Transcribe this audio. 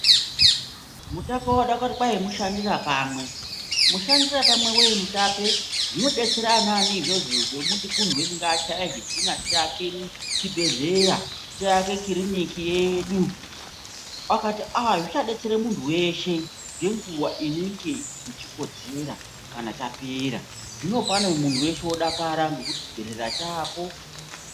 Mutape wakati mushandirapamwe, musharapamwe wei mutape zvinodetsera anaani izvozvo zvokuti munthu weshe ngachaye zvidhina zvokuti tiake chibhedhleya, tiake kiriniki yedu. Akati aaa zvichadetsere munthu weshe ngenguwa inenge ichikodzera kana chapera, zvino pano munthu weshe odakara ngekuti chibhedhera chaapo.